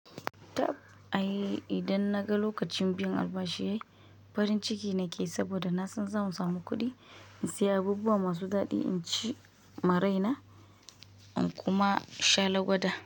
Tab ai idan naga lokacin biyan albashi yayi, farin ciki nake saboda na san zan samu kuɗi in saya abubuwa masu daɗi, in ci ma raina, in kuma sha lagwada.